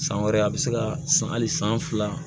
San wɛrɛ a bɛ se ka san hali san fila